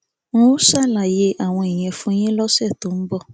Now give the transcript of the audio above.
n óò ṣàlàyé àwọn ìyẹn fún yín lọsẹ tó ń bọ